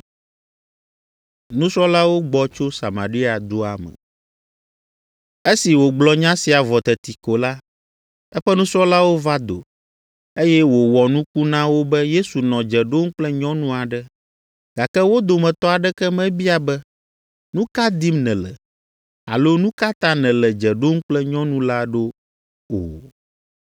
Esi wògblɔ nya sia vɔ teti ko la, eƒe nusrɔ̃lawo va do, eye wòwɔ nuku na wo be Yesu nɔ dze ɖom kple nyɔnu aɖe, gake wo dometɔ aɖeke mebia be, “Nu ka dim nèle?” alo “Nu ka ta nèle dze ɖom kple nyɔnu la ɖo?” o.